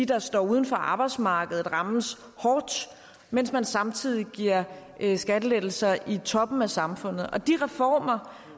der står uden for arbejdsmarkedet rammes hårdt mens man samtidig giver skattelettelser i toppen af samfundet de reformer